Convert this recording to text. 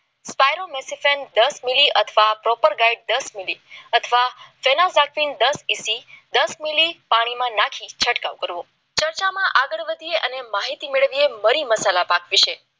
મારો મિસ યુ દસ મીલી અને દસમી દસ મિનિટ અથવા દસ ઇસી દસ મીલી પાણીમાં નાખી છંટકાવ કરવો ચર્ચામાં આગળ વધીએ અને માહિતી મેળવીએ મરી મસાલા પાટ